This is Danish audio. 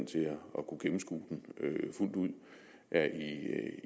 kunne gennemskue den fuldt ud er